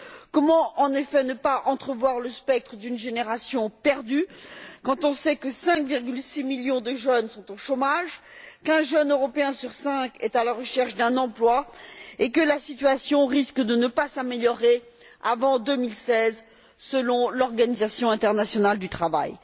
Comment, en effet, ne pas entrevoir le spectre d'une génération perdue quand on sait que 5,6 millions de jeunes sont au chômage, qu'un jeune européen sur cinq est à la recherche d'un emploi et que la situation risque de ne pas s'améliorer avant 2016, selon l'Organisation internationale du travail.